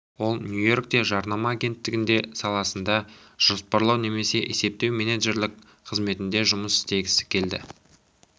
ол нью-йоркте жарнама агенттігінде саласында жоспарлау немесе есептеу менеджерлік қызметінде жұмыс істегісі келді